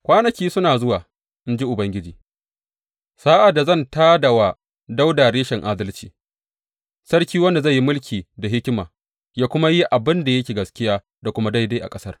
Kwanaki suna zuwa, in ji Ubangiji, sa’ad da zan tā da wa Dawuda Reshen adalci, Sarki wanda zai yi mulki da hikima ya kuma yi abin da yake gaskiya da kuma daidai a ƙasar.